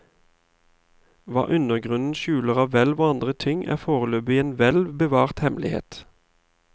Hva undergrunnen skjuler av hvelv og andre ting, er foreløpig en velbevart hemmelighet.